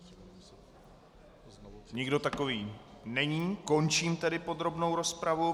Nikdo takový není, končím tedy podrobnou rozpravu.